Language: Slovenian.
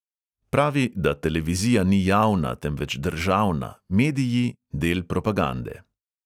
Pravi, da televizija ni javna, temveč državna, mediji del propagande.